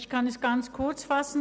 Ich kann mich kurz fassen.